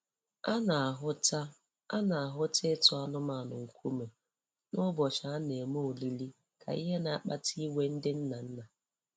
A na-ahụta A na-ahụta ịtụ anụmanụ nkume n'ụbọchị a na-eme olili ka ihe na-akpata iwe ndị nnanna